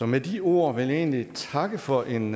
med de ord vil jeg egentlig takke for en